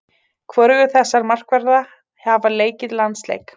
Hvorugur þessara markvarða hafa leikið landsleik.